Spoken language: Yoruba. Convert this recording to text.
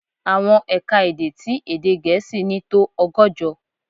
Àwọn è̀ka-èdè tí èdè Gẹ̀ẹ́sì ní tó ọgọ́jọ.